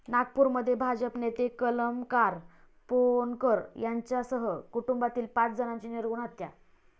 नागपूरमध्ये भाजप नेते कमलाकर पोहनकर यांच्यासह कुटुंबातील पाच जणांची निर्घृण हत्या